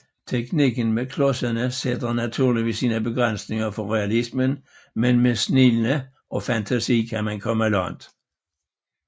Teknikken med klodserne sætter naturligvis sine begrænsninger for realismen men med snilde og fantasi kan man komme langt